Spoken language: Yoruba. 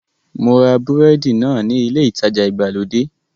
Mo ra búrẹ́dì náà ní ilé ìtajà ìgbàlódé